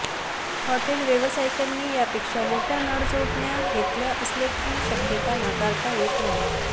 hotel व्यावसायिकांनी यापेक्षा मोठय़ा नळजोडण्या घेतल्या असण्याची शक्यता नाकारता येत नाही